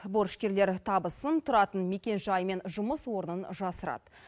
борышкерлер табысын тұратын мекенжай мен жұмыс орнын жасырады